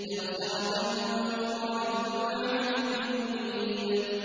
تَبْصِرَةً وَذِكْرَىٰ لِكُلِّ عَبْدٍ مُّنِيبٍ